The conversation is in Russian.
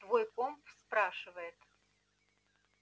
твой комп спрашивает